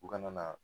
U kana na